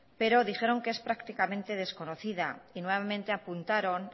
pero dijeron que es prácticamente desconocida y nuevamente apuntaron